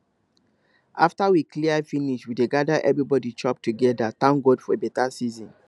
after we clear finish we dey gather everybody chop together thank god for better season